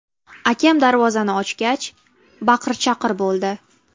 Akam darvozani ochgach, baqir-chaqir bo‘ldi.